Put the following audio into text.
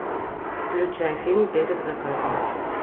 включай фильм перед закатом